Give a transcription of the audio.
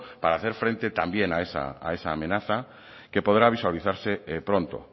para hacer frente también a esa amenaza que podrá visualizarse pronto